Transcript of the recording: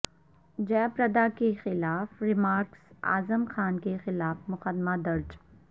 جیہ پردا کے خلاف ریمارکس اعظم خاں کے خلاف مقدمہ درج